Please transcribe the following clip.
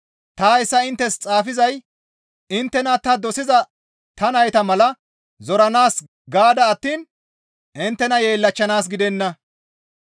Ta hayssa inttes xaafizay inttena ta dosiza ta nayta mala zoranaas gaada attiin inttena yeellachchanaas gidenna.